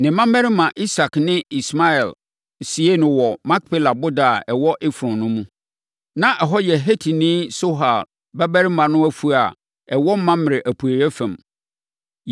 Ne mmammarima Isak ne Ismael siee no wɔ Makpela boda a ɛwɔ Efron no mu. Na ɛhɔ yɛ Hetini Sohar babarima no afuo a ɛwɔ Mamrɛ apueeɛ fam.